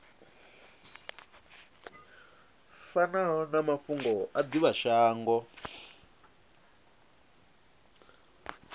fanaho na mafhungo a divhashango